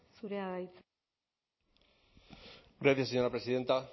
zurea da hitza gracias señora presidenta